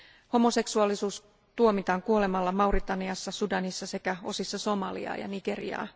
Homoseksuaalisuudesta tuomitaan kuolemaan Mauritaniassa, Sudanissa sekä osissa Somaliaa ja Nigeriaa.